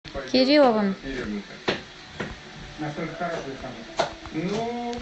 кирилловым